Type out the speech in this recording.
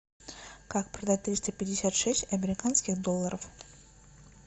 как продать триста пятьдесят шесть американских долларов